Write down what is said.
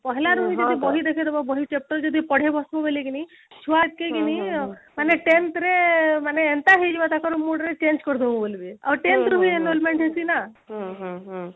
ପହଳାରୁ ହି ଯଦି ବହି ଦେଖେଇଦବ ବହି chapter ଯଦି ପଢେଇବ ବୋଲି କିରି ଛୁଆ ମାନେ tenth ରେ ମାନେ ଏନ୍ତା ହେଇଯିବାଟା କଣ board ରେ change କରିଦବା ବୋଲି ବି ଆଉ tenth ରୁ ହିଁ enrollment ହେଇଛି ନା